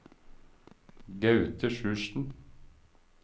Gaute Sjursen